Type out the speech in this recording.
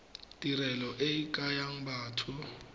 tirelo e ke ya batho